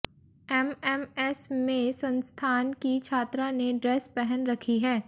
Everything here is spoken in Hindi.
एमएमएस में संस्थान की छात्रा ने ड्रेस पहन रखी है